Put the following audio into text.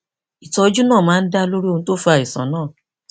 ìtọjú náà máa ń dá lórí ohun tó fa àìsàn náà